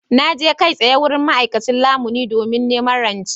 Na je kai tsaye wurin ma’aikacin lamuni domin neman rance.